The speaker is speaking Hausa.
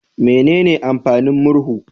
Menene amfanin murhu?